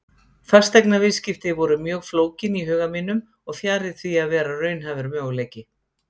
Fasteignaviðskipti voru mjög flókin í huga mínum og fjarri því að vera raunhæfur möguleiki.